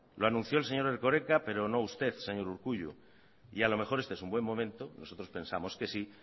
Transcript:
lo anunció el señor erkoreka pero no usted señor urkullu y a lo mejor este es un buen momento nosotros pensamos que sí